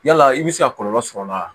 Yala i bɛ se ka kɔlɔlɔ sɔrɔ a la wa